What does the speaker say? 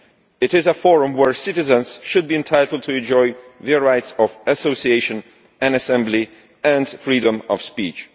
It is a forum where citizens should be entitled to enjoy the rights of association, assembly and freedom of speech.